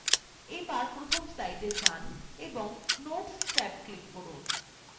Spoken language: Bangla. এবার প্রথম slide যান এবং notes ট্যাবএ click করুন